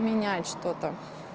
менять что-то